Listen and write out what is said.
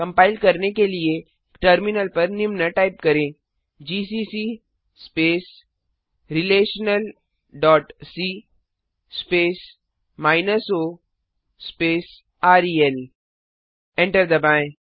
compile करने के लिए टर्मिनल पर निम्न टाइप करें GCC space relational dot C space o space rel enter दबाएँ